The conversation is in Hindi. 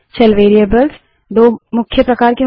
शेल वेरिएबल्स दो मुख्य प्रकार के होते हैं